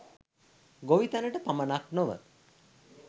ගොවිතැනට පමණක් නොව